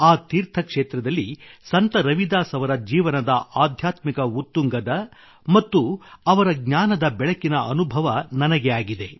ಆ ತೀರ್ಥಕ್ಷೇತ್ರದಲ್ಲಿ ಸಂತ ರವಿದಾಸ್ ಅವರ ಜೀವನದ ಆಧ್ಯಾತ್ಮಿಕ ಉತ್ತುಂಗದ ಮತ್ತು ಅವರ ಜ್ಞಾನದ ಬೆಳಕಿನ ಅನುಭವ ನನಗೆ ಆಗಿದೆ